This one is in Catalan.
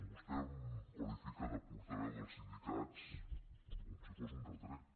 vostè em qualifica de portaveu dels sindicats com si fos un retret